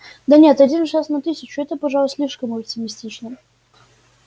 да нет один шанс на тысячу это пожалуй слишком оптимистично